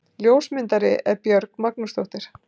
ljósmyndari er björg magnúsdóttir